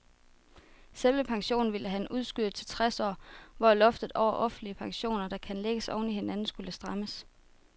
Selve pensionen ville han udskyde til tres år, hvor loftet over offentlige pensioner, der kan lægges oven i hinanden, skulle strammes.